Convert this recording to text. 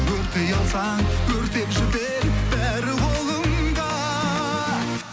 өртей алсаң өртеп жібер бәрі қолыңда